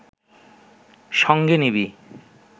সঙ্গে নিবি